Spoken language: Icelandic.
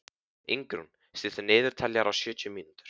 Ingrún, stilltu niðurteljara á sjötíu mínútur.